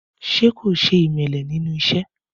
Ṣé kò ṣe ìmẹ̀lẹ̀ ní ẹnu iṣẹ́?